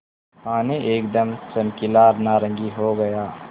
पानी एकदम चमकीला नारंगी हो गया